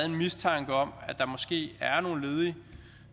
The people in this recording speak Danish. en mistanke om at der måske er nogle ledige